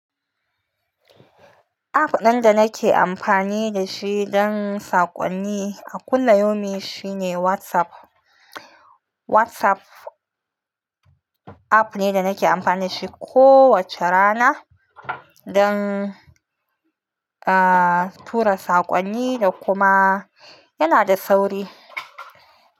App ɗin da nake amfani da shi don saƙonni a kulliyaumin shi ne WhatsApp. WhatsApp app ne da nake amfani da shi kowace rana don, aa, tura saƙonni da kuma yana da sauri.